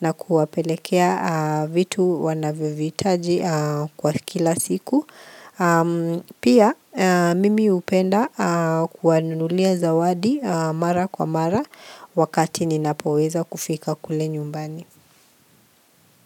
na kuwapelekea vitu wanavyovihitaji kwa kila siku Pia, mimi hupenda kuwanunulia zawadi mara kwa mara wakati ninapoweza kufika kule nyumbani.